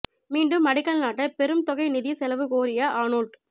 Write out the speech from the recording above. மீண்டும் அடிக்கல் நாட்ட பெரும் தொகை நிதி செலவு கோரிய ஆனோல்ட்